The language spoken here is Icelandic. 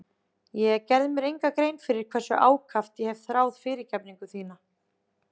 Ég gerði mér enga grein fyrir hversu ákaft ég hef þráð fyrirgefningu þína.